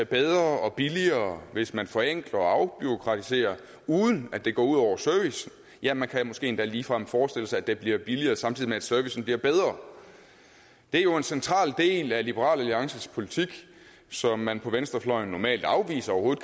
bedre og billigere hvis man forenkler og afbureaukratiserer uden at det går ud over servicen ja man kan måske endda ligefrem forestille sig at det bliver billigere samtidig med at servicen bliver bedre det er jo en central del af liberal alliances politik som man på venstrefløjen normalt afviser overhovedet